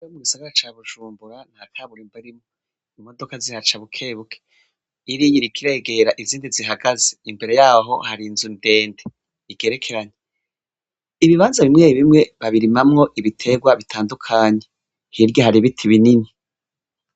Yomw'gisagara ca bujumbura nta tabura imbarimo imodoka zihaca bukebuke irinyirikiregera izindi zihagaze imbere yaho hari nzu ndende igerekeranye ibibanza bimwe bimwe babirimamwo ibiterwa bitandukanye hirya hari biti binini.